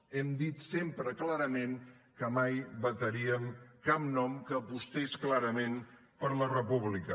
hem dit sempre clarament que mai vetaríem cap nom que apostés clarament per la república